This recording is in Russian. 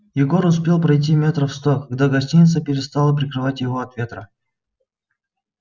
егор успел пройти метров сто когда гостиница перестала прикрывать его от ветра